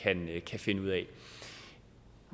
andet